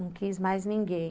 Não quis mais ninguém.